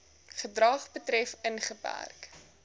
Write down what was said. gedrag betref ingeperk